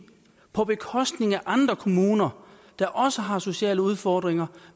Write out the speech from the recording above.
på bekostning af andre kommuner der også har sociale udfordringer